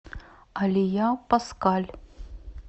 алия паскаль